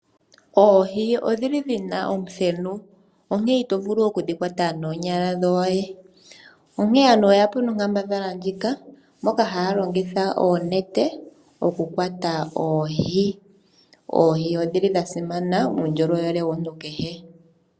Oohi odhili dhina omuthenu onkee ito vulu oku dhi kwata noonyala dhoye, onkee aantu oye yapo nonkambadhala ndjika, moka haya longitha oonete, oku kwata oohi. Oohi odhili dha simana muundjolowele womuntu kehe.